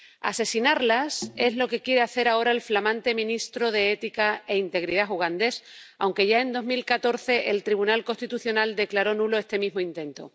Asesinarlas es lo que quiere hacer ahora el flamante ministro de Ética e Integridad ugandés, aunque ya, en 2014, el Tribunal Constitucional declaró nulo este mismo intento.